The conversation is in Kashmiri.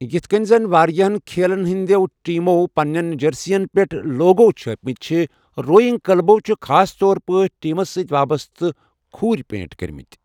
یتھہٕ کٔنہِ زَن واریٛاہِن کھیلن ہِنٛدیو ٹیمو پننٮ۪ن جٔرسین پٮ۪ٹھ لوگو چھٲپِمٕتہِ چھِ ، روئنگ کٕلبو چھِ خاص طورپریٹھ ٹیمس ستۍ وابسطہٕ كھوٗرِ پینٹ کٔرمٕتۍ ۔